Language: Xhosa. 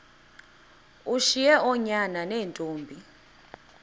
ushiye oonyana neentombi